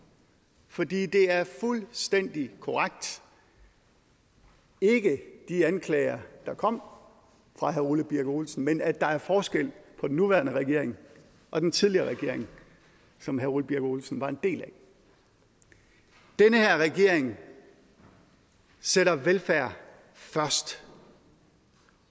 fordi det er fuldstændig korrekt ikke de anklager der kom fra herre ole birk olesen at der er forskel på den nuværende regering og den tidligere regering som herre ole birk olesen var en del af den her regering sætter velfærd først